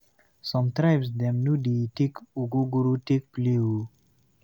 Some tribe dem no dey take ogogoro take play o.